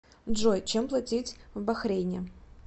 джой чем платить в бахрейне